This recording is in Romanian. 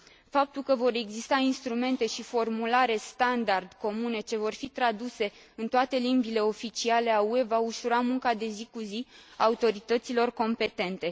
Faptul că vor exista instrumente și formulare standard comune, ce vor fi traduse în toate limbile oficiale ale UE, va ușura munca de zi cu zi a autorităților competente.